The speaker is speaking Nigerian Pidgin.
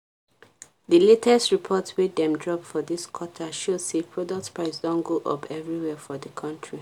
the latest report wey dem drop for this quarter show say product price don go up everywhere for the country.